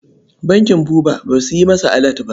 Bankin Buba ba su yi masa alat ba.